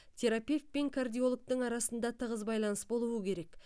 терапевт пен кардиологтың арасында тығыз байланыс болуы керек